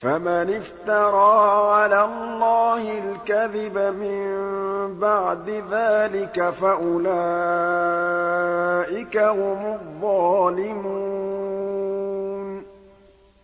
فَمَنِ افْتَرَىٰ عَلَى اللَّهِ الْكَذِبَ مِن بَعْدِ ذَٰلِكَ فَأُولَٰئِكَ هُمُ الظَّالِمُونَ